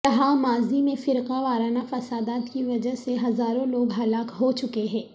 یہاں ماضی میں فرقہ وارانہ فسادات کی وجہ سے ہزاروں لوگ ہلاک ہوچکے ہیں